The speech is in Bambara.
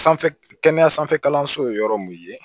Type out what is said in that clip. Sanfɛ kɛnɛya sanfɛ kalanso ye yɔrɔ min ye